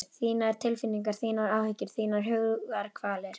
Þínar tilfinningar, þínar áhyggjur, þínar hugarkvalir.